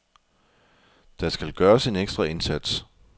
Der skal gøres en ekstra indsats.